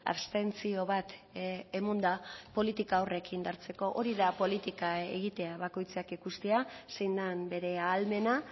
abstentzio bat emonda politika horrek indartzeko hori da politika egitea bakoitzak ikustea zein den bere ahalmena